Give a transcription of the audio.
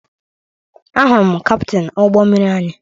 Ahụrụ m kaptịn ụgbọ mmiri anyị